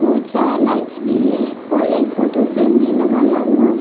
बहुत सारा लाइट्स भी हैं और एक फोटो फ्रेम भी लगाया हुआ हैं।